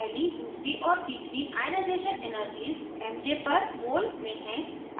पहली दूसरी और तीसरी ionization energies mj per mol में हैं